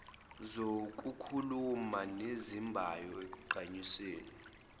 zokukhuluma ezinembayo ekugqamiseni